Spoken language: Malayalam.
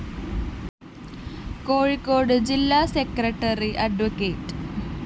കോഴിക്കോട് ജില്ലാ സെക്രട്ടറി അഡ്വ